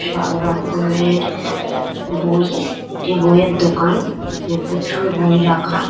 সবরকমের বই এ বইয়ের দোকান। যে প্রচুর বই রাখা।